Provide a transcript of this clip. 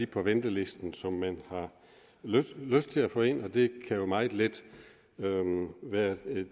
på ventelisten som man har lyst til at få ind og det kan jo meget let være